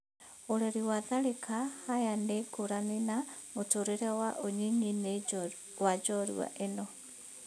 Ũreri wa Tharĩka Haya nĩ ngũrani na mũtũrĩre wa unyinyinĩ wa njorua ĩno.